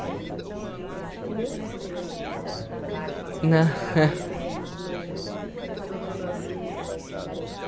gente? Primeiro, se você tem mais alguma coisa para contar, que passou por essa cabeça e que a gente não tocou no assunto, mas que apareceu